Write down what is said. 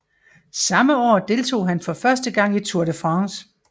Samme år deltog han for første gang i Tour de France